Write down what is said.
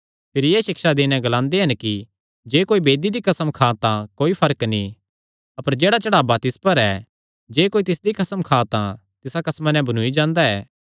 भिरी एह़ सिक्षा देई नैं ग्लांदे हन कि जे कोई वेदी दी कसम खां तां कोई फर्क नीं अपर जेह्ड़ा चढ़ावा तिस पर ऐ जे कोई तिसदी कसम खां तां तिसा कसमा नैं बन्नूई जांदा ऐ